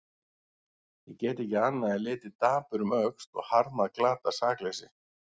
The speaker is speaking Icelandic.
Ég get ekki annað en litið dapur um öxl og harmað glatað sakleysi.